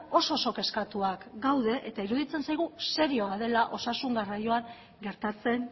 oso oso kezkatuak gaude eta iruditzen zaigu serioa dela osasun garraioan gertatzen